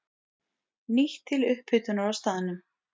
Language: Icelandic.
Nýtt til upphitunar á staðnum.